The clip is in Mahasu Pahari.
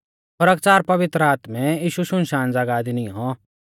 खरकच़ार पवित्र आत्मै यीशु शुनशान ज़ागाह दी नियौं